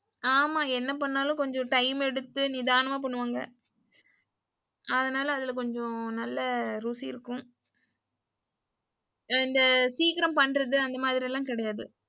ஆமா என்ன பண்ணாலும் கொஞ்சம் டைம் எடுத்து நிதானாமா பண்ணுவாங்க. அதனால அதுல கொஞ்சம் ருசி இருக்கும். இந்த சீக்கிரம் பண்றது அந்த மாரி எல்லாம் கிடையாது.